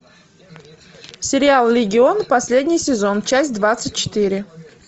сериал легион последний сезон часть двадцать четыре